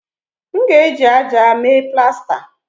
M ga-eji ájá mee plasta